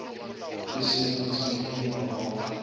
le semetsing ge morwa wa